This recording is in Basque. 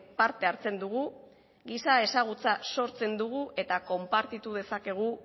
parte hartzen dugu giza ezagutza sortzen dugu eta konpartitu dezakegu